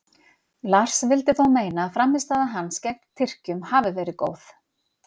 Lars vildi þó meina að frammistaða hans gegn Tyrkjum hafi verið góð.